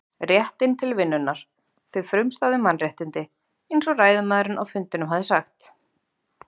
réttinn til vinnunnar, þau frumstæðu mannréttindi, einsog ræðumaðurinn á fundinum hafði sagt.